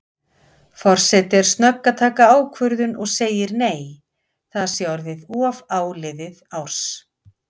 Forseti er snögg að taka ákvörðun og segir nei, það sé orðið of áliðið árs.